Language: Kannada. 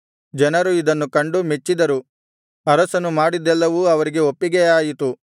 ಜನರು ಇದನ್ನು ಕಂಡು ಮೆಚ್ಚಿದರು ಅರಸನು ಮಾಡಿದ್ದೆಲ್ಲವೂ ಅವರಿಗೆ ಒಪ್ಪಿಗೆಯಾಯಿತು